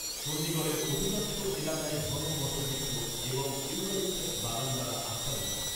চণ্ডীগড়ের অধিকাংশ এলাকাই ঘন বটবৃক্ষ এবং ইউক্যালিপটাস বাগান দ্বারা আচ্ছাদিত।